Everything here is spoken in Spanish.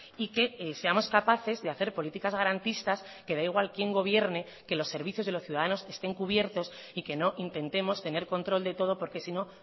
y que seamos capaces de hacer políticas garantistas que da igual quien gobierne que los servicios de los ciudadanos estén cubiertos y que no intentemos tener control de todo porque sino